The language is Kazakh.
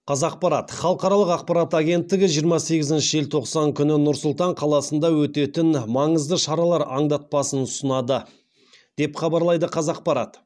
қазақпарат халықаралық ақпарат агенттігі жиырма сегізінші желтоқсан күні нұр сұлтан қаласында өтетін маңызды шаралар аңдатпасын ұсынады деп хабарлайды қазақпарат